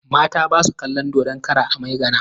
Mata ba su kalon dodon kara a Maigana.